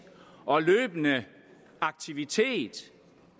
og løbende aktivitet